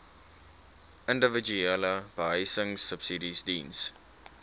individuele behuisingsubsidies diens